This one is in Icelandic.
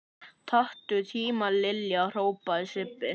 Taktu tímann Lilla! hrópaði Sibbi.